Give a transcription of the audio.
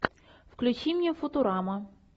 включи мне футурама